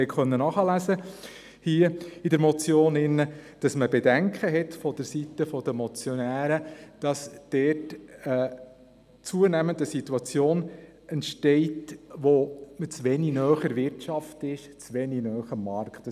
Sie konnten in der Motion nachlesen, dass vonseiten der Motionäre Bedenken geäussert wurden, dass zunehmend die Situation entsteht, dass man zu wenig nah an der Wirtschaft und am Markt ist.